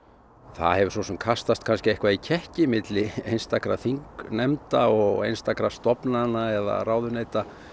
það hefur svo sem kastast kannski eitthvað í kekki milli einstakra þingnefnda og einstakra stofnana eða ráðuneyta